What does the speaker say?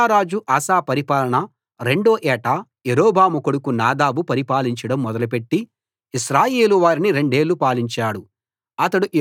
యూదారాజు ఆసా పరిపాలన రెండో ఏట యరొబాము కొడుకు నాదాబు పరిపాలించడం మొదలుపెట్టి ఇశ్రాయేలు వారిని రెండేళ్ళు పాలించాడు